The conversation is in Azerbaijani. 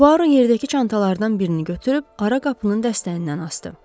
Puaro yerdəki çantalardan birini götürüb ara qapının dəstəyindən asdı.